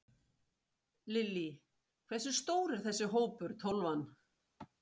Lillý: Hversu stór er þessi hópur, Tólfan?